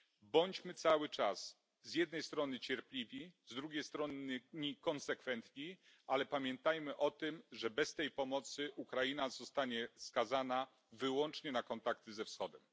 Bądźmy cały czas, z jednej strony cierpliwi, z drugiej strony konsekwentni, ale pamiętajmy o tym, że bez tej pomocy Ukraina zostanie skazana wyłącznie na kontakty ze Wschodem.